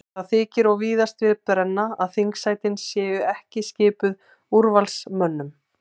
Það þykir og víðast við brenna að þingsætin séu ekki skipuð úrvalsmönnum.